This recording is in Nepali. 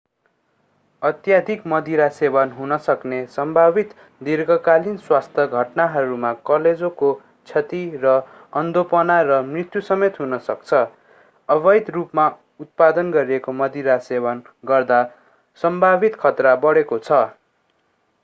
अत्यधिक मदिरा सेवन हुन सक्ने सम्भावित दीर्घकालीन स्वास्थ्य घटनाहरूमा कलेजोको क्षति र अन्धोपना र मृत्युसमेत हुन सक्छ अवैध रूपमा उत्पादन गरिएको मदिरा सेवन गर्दा सम्भावित खतरा बढेको छ